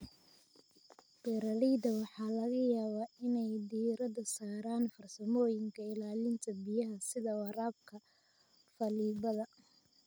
Beeralayda waxaa laga yaabaa inay diiradda saaraan farsamooyinka ilaalinta biyaha sida waraabka faleebada.